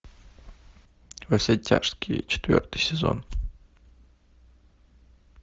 во все тяжкие четвертый сезон